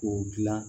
K'o dilan